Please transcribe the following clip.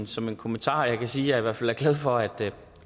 som en kommentar og jeg kan sige at jeg i hvert fald er glad for at